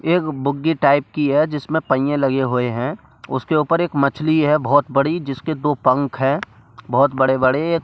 एक बुग्गी टाइप की है जिसमें पैए लगे हुए हैं उसके ऊपर एक मछली है बहुत बड़ी जिसके दो पंख हैं बहुत बड़े-बड़े एक--